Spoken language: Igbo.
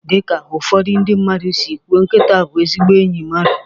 Dị ka ụfọdụ ndị mmadụ si kwuo nkịta bụ ezigbo enyi mmadụ